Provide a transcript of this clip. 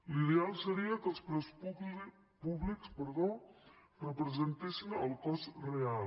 l’ideal seria que els preus públics representessin el cost real